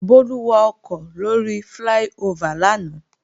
Bólú wakọ̀ lóri fláí-ofà lánàá